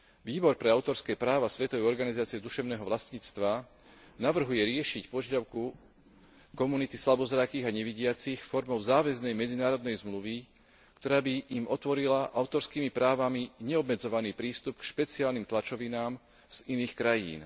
Výbor pre autorské práva Svetovej organizácie duševného vlastníctva navrhuje riešiť požiadavku komunity slabozrakých a nevidiacich formou záväznej medzinárodnej zmluvy, ktorá by im otvorila autorskými právami neobmedzovaný prístup k špeciálnym tlačovinám z iných krajín.